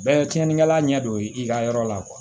Bɛɛ ye tiɲɛnikɛla ɲɛ don i ka yɔrɔ la